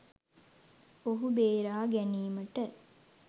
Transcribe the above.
මොහු බේරා ගැනීමට